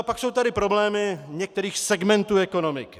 A pak jsou tady problémy některých segmentů ekonomiky.